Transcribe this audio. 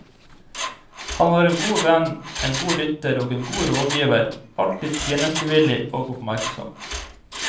Han var en god venn, en god lytter og en god rådgiver, alltid tjenestevillig og oppmerksom.